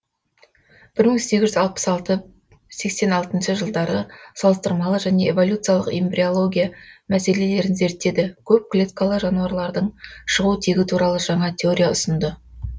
бір мың сегіз жүз алпыс алты сексен алтыншы жылдары салыстырмалы және эволюциялық эмбриология мәселелерін зерттеді көп клеткалы жануарлардың шығу тегі туралы жаңа теория ұсынды